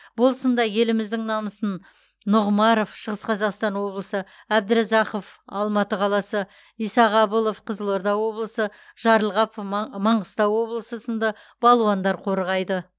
бұл сында еліміздің намысын нұғымаров шығыс қазақстан облысы әбдіразақов алматы қаласы исағабылов қызылорда облысы жарылғапов маңғыстау облысы сынды балуандар қорғайды